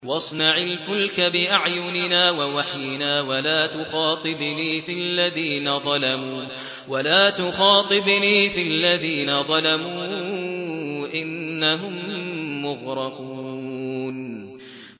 وَاصْنَعِ الْفُلْكَ بِأَعْيُنِنَا وَوَحْيِنَا وَلَا تُخَاطِبْنِي فِي الَّذِينَ ظَلَمُوا ۚ إِنَّهُم مُّغْرَقُونَ